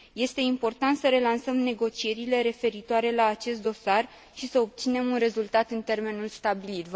Este important să relansăm negocierile referitoare la acest dosar și să obținem un rezultat în termenul stabilit.